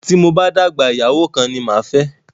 Tí mo bá dàgbà, ìyàwó kan ni máa fẹ́